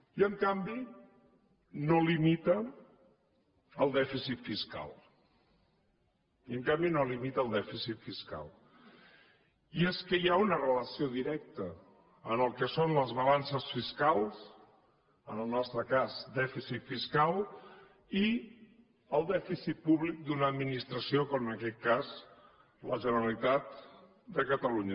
i en canvi no limita el dèficit fiscal i en canvi no limita el dèficit fiscal i és que hi ha una relació directa en el que són les balances fiscals en el nostre cas dèficit fiscal i el dèficit públic d’una administració com en aquest cas la generalitat de catalunya